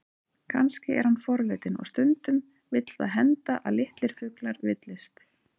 Kannski er hann forvitinn, og stundum vill það henda að litlir fuglar villist.